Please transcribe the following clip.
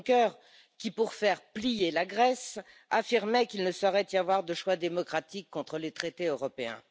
Junker qui, pour faire plier la Grèce, affirmait qu'il ne saurait y avoir de choix démocratique contre les traités européens?